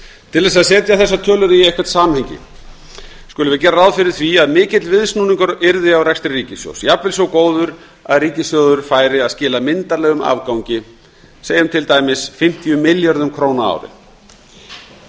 til að setja þessar tölur í eitthvert samhengi skulum við gera ráð fyrir því að mikill viðsnúningur yrði á rekstri ríkissjóðs jafnvel svo góður að ríkissjóður færi að skila myndarlegum afgangi segjum til dæmis fimmtíu milljörðum króna á ári